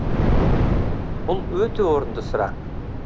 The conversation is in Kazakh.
бұл өте орынды сұрақ